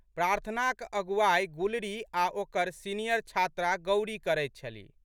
प्रार्थनाक अगुआइ गुलरी आ' ओकर सीनियर छात्रा गौरी करैत छलि।